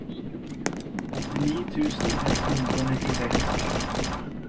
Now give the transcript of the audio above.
åttini tusen ett hundre og nittiseks